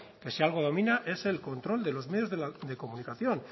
que si algo domina es el control de los medios de comunicación